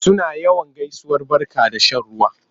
Suna yawan gaisuwar barka da shan ruwa.